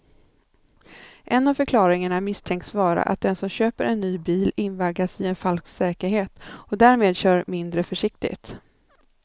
En av förklaringarna misstänks vara att den som köper en ny bil invaggas i en falsk säkerhet och därmed kör mindre försiktigt.